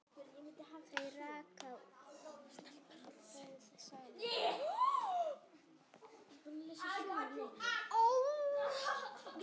Þau ráku búð saman.